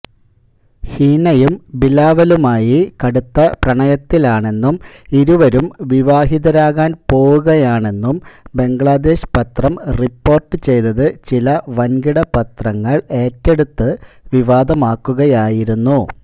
ഹിനയും ബിലാവലുമായി കടുത്ത പ്രണയത്തിലാണെന്നും ഇരുവരും വിവാഹിതരാകാന് പോകുകയാണെന്നും ബംഗ്ലാദേശ് പത്രം റിപ്പോര്ട്ട് ചെയ്തത് ചില വന്കിടപത്രങ്ങള് ഏറ്റെടുത്ത് വിവാദമാക്കുകയായിരുന്നു